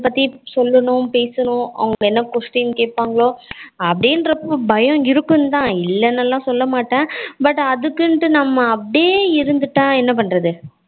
but சொல்லணும் பேசணும் அவங்க என்ன question கேப்பாங்க அப்படினு அப்போ பயம் இருக்கும் தான் இல்லனூலாம் சொல்ல மாட்டேன் but அதுக்குன்டு நம்ம அப்படியே இருந்துட்டா என்ன பண்ணுறது